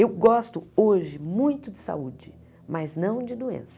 Eu gosto hoje muito de saúde, mas não de doença.